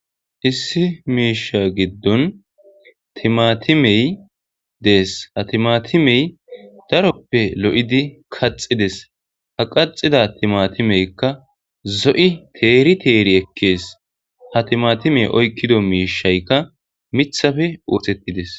hissi miisha giddon timatimey dees ha timatimey daroppe lo7idi kaxides ha qaxida timatimeykka zo7i teeri teeri ekkees ha timatimey oykkido miishaykka mithafe oosettides